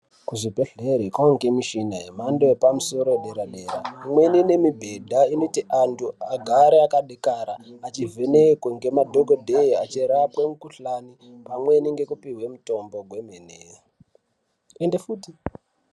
Kuzvibhehleri kwawange nemishina yemhamndo yepamusoro yepadereradera imweni inemibhedha inoti antu agare akadekara achivhenekwe ngemadhokodheya achirapwe mikhuhlane pamweni nekupiwe mitombo kwemene.